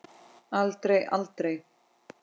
Aldrei, aldrei!